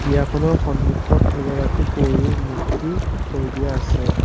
বিয়াখনৰ সন্মুখত এগৰাকী পৰীৰ মূৰ্ত্তি থৈ দিয়া আছে।